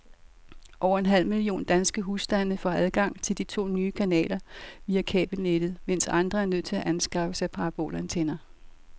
Over en halv million danske husstande får adgang til de to nye kanaler via kabelnettet, mens andre er nødt til at anskaffe sig parabolantenner.